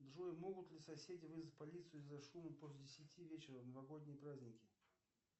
джой могут ли соседи вызвать полицию из за шума после десяти вечера в новогодние праздники